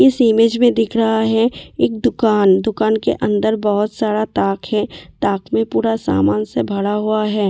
इस इमेज में दिख रहा है एक दुकान दुकान के अंदर बहुत सारा ताक है ताक में पूरा सामान से भरा हुआ है और।